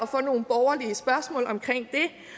få nogle borgerlige spørgsmål omkring